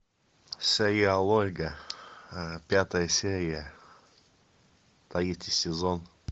сериал ольга пятая серия третий сезон